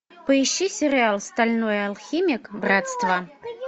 поищи сериал стальной алхимик братство